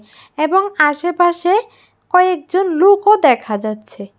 এবং আশেপাশে কয়েকজন লুকও দেখা যাচ্ছে।